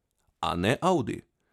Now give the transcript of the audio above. A ne Audi.